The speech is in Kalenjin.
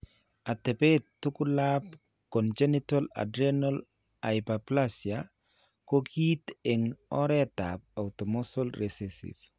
Atepet tugulap congenital adrenal hyperplasia ko kiinti eng' oretap autosomal recessive.